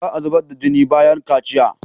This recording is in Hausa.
Za a zubar da jini bayan kaciya.